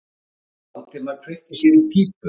Valdimar kveikti sér í pípu.